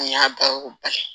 An y'a baro ba ye